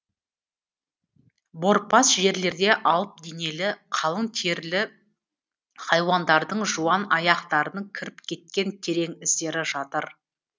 борпас жерлерде алып денелі қалың терілі хайуандардың жуан аяқтарының кіріп кеткен терең іздері жатыр